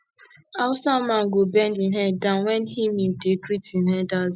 hausa man go bend him head down wen him him dey greet im elders